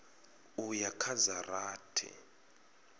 u ya kha dza rathi